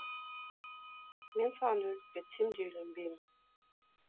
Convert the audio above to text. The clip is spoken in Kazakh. мен саған өліп кетсем де үйленбеймін